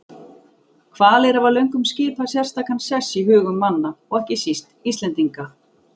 Hvalir hafa löngum skipað sérstakan sess í hugum manna og ekki síst Íslendinga.